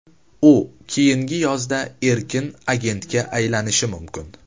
U keyingi yozda erkin agentga aylanishi mumkin.